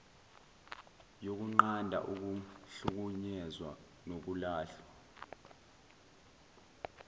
yokunqanda ukuhlukunyezwa nokulahlwa